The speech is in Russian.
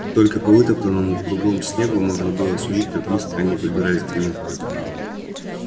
только по вытоптанному кругом снегу можно было судить как близко они подбирались к нему